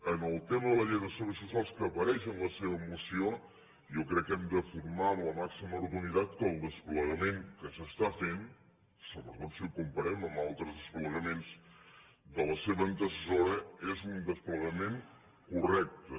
en el tema de la llei de serveis socials que apareix en la seva moció jo crec que hem de formar amb la màxima rotunditat que el desplegament que s’està fent sobretot si ho comparem amb altres desplegaments de la seva antecessora és un desplegament correcte